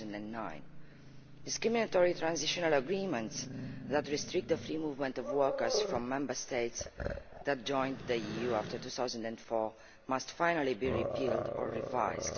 of 2009. Discriminatory transitional agreements that restrict the movement of workers from Member States that joined the EU after 2004 must finally be repealed or revised.